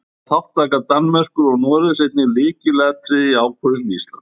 Þá var þátttaka Danmerkur og Noregs einnig lykilatriði í ákvörðun Íslands.